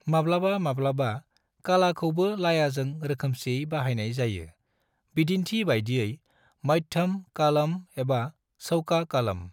माब्लाबा माब्लाबा, कालाखौबो लायाजों रोखोमसेयै बाहायनाय जायो, बिदिन्थि बायदियै मध्यम कालम एबा चौका कालम।